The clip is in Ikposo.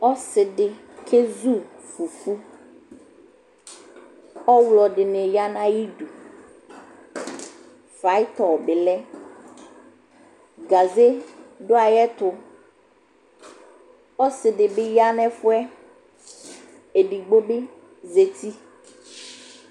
Ɔsɩ dɩ kezu fufu Ɔɣlɔ dɩnɩ ya nʋ ayɩdu Flayɩtɔ bɩ lɛ Gaze dʋ ayɛtʋ Ɔsɩ dɩ bɩ ya nʋ ɛfʋ yɛ, edogbo bɩ zati